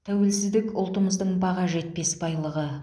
тәуелсіздік ұлтымыздың баға жетпес байлығы